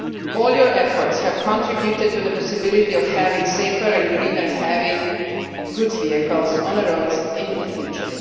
All these efforts have contributed to the possibility of having safer and greener heavy goods vehicles on the roads in the future.